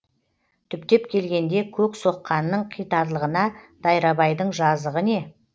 түптеп келгенде көк соққанның қитарлығына дайрабайдың жазығы не